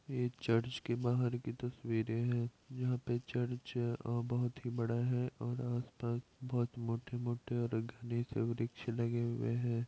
ये चर्च के बाहर की तस्वीरें हैं जहां पे चर्च अ बहुत ही बड़ा है और आस-पास बहुत ही मोटे-मोटे और घने से वृक्ष लगे हुए हैं।